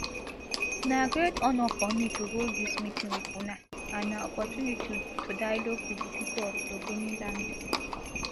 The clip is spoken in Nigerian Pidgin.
na great honour for me to hold dis meeting wit una and na opportunity to dialogue wit di pipo of ogoniland